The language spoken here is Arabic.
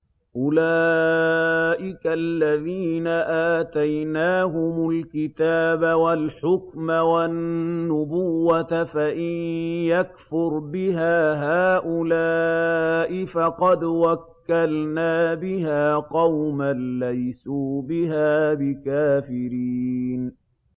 أُولَٰئِكَ الَّذِينَ آتَيْنَاهُمُ الْكِتَابَ وَالْحُكْمَ وَالنُّبُوَّةَ ۚ فَإِن يَكْفُرْ بِهَا هَٰؤُلَاءِ فَقَدْ وَكَّلْنَا بِهَا قَوْمًا لَّيْسُوا بِهَا بِكَافِرِينَ